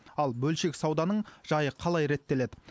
ал бөлшек сауданың жайы қалай реттеледі